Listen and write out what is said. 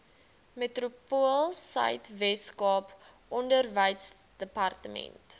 metropoolsuid weskaap onderwysdepartement